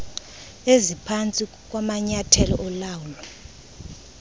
eziphantsi kwamanyathelo olawulo